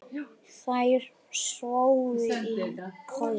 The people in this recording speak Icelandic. Þær sváfu í kojum.